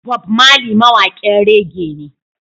Bob Marley mawaƙin raggea ne